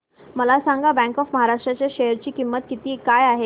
मला सांगा bank of Maharashtra च्या शेअर ची किंमत काय आहे